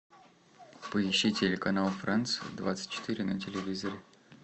поищи телеканал франц двадцать четыре на телевизоре